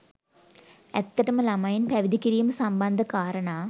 ඇත්තටම ළමයින් පැවිදි කිරීම සම්බන්ධ කාරණා